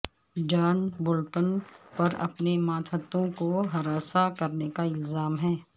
جان Bolton پر اپنے ماتحتوں کو ہراساں کرنے کا الزام ہے